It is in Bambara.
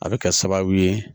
A bɛ kɛ sababu ye